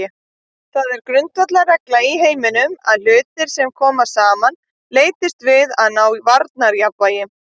Það er grundvallarregla í heiminum að hlutir sem koma saman leitast við að ná varmajafnvægi.